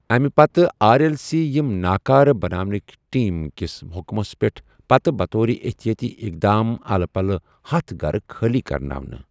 اَمہِ پتہٕ آر ایٚل سی یم ناكارٕ بناونٕكہِ ٹیم كِس حٖٗكمس پیٹھ پتہٕ بطورِ احتیٲتی اقدام الہٕ پلہٕ ہتھَ گھرٕ خٲلی كرناونہٕ ۔